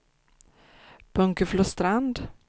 Bunkeflostrand